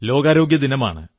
ലോകാരോഗ്യദിനമാണ്